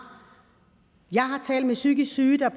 jeg har talt med psykisk syge der